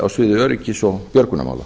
á sviði öryggis og björgunarmála